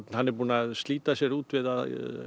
hann er búinn að slíta sér út við að